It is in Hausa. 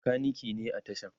makaniki ne a tashan